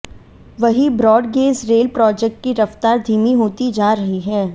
वहीं broad gauge rail project की रफ्तार धीमी होती जा रही है